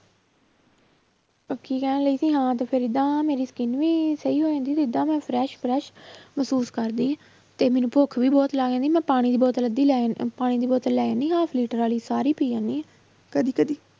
ਉਹ ਕੀ ਕਹਿ ਰਹੀ ਸੀ ਹਾਂ ਤੇ ਫਿਰ ਏਦਾਂ ਮੇਰੀ skin ਵੀ ਸਹੀ ਹੋ ਜਾਂਦੀ ਤੇ ਏਦਾਂ ਮੈਂ fresh fresh ਮਹਿਸੂਸ ਕਰਦੀ ਹਾਂ ਤੇ ਮੈਨੂੰ ਭੁੱਖ ਵੀ ਬਹੁਤ ਲੱਗ ਜਾਂਦੀ ਮੈਂ ਪਾਣੀ ਦੀ ਬੋਤਲ ਅੱਧੀ ਲੈ, ਪਾਣੀ ਦੀ ਬੋਤਲ ਲੈ ਜਾਨੀ ਆਂ half ਲੀਟਰ ਵਾਲੀ ਸਾਰੀ ਪੀ ਜਾਂਦੀ ਹਾਂ ਕਦੇ ਕਦੇ